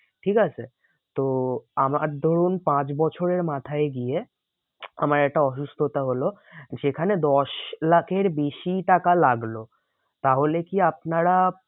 ঠিক আছে? তো আমার ধরুন পাঁচ বছরের মাথায় গিয়ে আমার একটা অসুস্থতা হলো যেখানে দশ লাখের বেশি টাকা লাগলো। তাহলে কি আপনারা